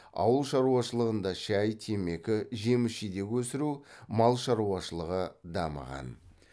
ауыл шаруашылығында шай темекі жеміс жидек өсіру мал шаруашылығы дамыған